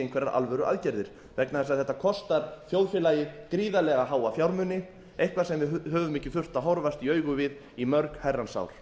einhverjar alvöruaðgerðir vegna þess að þetta kostar þjóðfélagið gríðarlega háa fjármuni eitthvað sem við höfum ekki þurft að horfast í augu við í mörg herrans ár